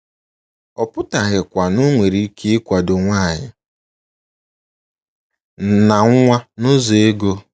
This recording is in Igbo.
Ọ pụtaghịkwa na ọ nwere ike ịkwado nwanyị na nwa n’ụzọ ego.